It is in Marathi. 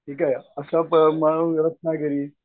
ठीक आहे असं रत्नागिरी.